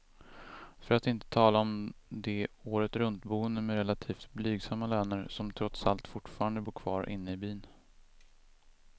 För att inte tala om de åretruntboende med relativt blygsamma löner, som trots allt fortfarande bor kvar inne i byn.